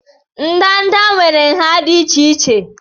ndanda nwere nha dị iche iche